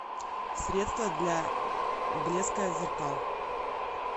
средство для блеска зеркал